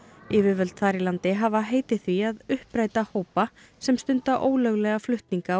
yfirvöld þar í landi hafa heitið því að uppræta hópa sem stunda ólöglega flutninga á